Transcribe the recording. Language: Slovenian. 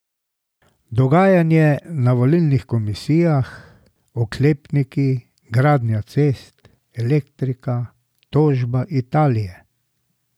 Dogajanje na volilnih komisijah, oklepniki, gradnja cest, elektrika, tožba Italije ...